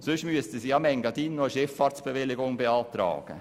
Sonst müssten sie im Engadin noch eine Schifffahrtsbewilligung beantragen.